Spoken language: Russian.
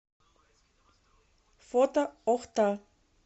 фото охта